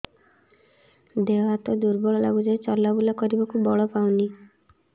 ଦେହ ହାତ ଦୁର୍ବଳ ଲାଗୁଛି ଚଲାବୁଲା କରିବାକୁ ବଳ ପାଉନି